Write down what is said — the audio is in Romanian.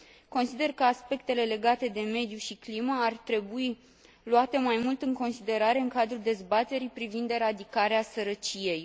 Consider că aspectele legate de mediu și climă ar trebui luate mai mult în considerare în cadrul dezbaterii privind eradicarea sărăciei.